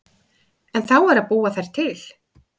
En þá er að búa þær til.